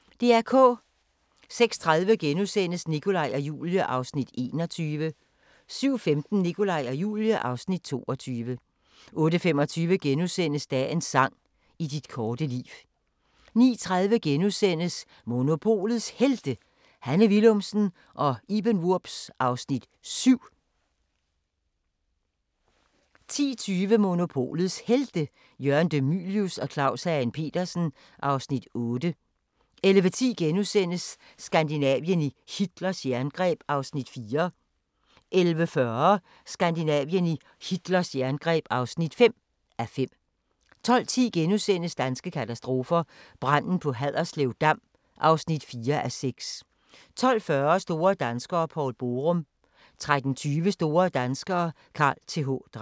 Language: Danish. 06:30: Nikolaj og Julie (Afs. 21)* 07:15: Nikolaj og Julie (Afs. 22) 08:25: Dagens sang: I dit korte liv * 09:30: Monopolets Helte - Hanne Willumsen og Iben Wurbs (Afs. 7)* 10:20: Monopolets Helte – Jørgen De Mylius og Claus Hagen Petersen (Afs. 8) 11:10: Skandinavien i Hitlers jerngreb (4:5)* 11:40: Skandinavien i Hitlers jerngreb (5:5) 12:10: Danske katastrofer – Branden på Haderslev Dam (4:6)* 12:40: Store danskere - Poul Borum 13:20: Store danskere - Carl Th. Dreyer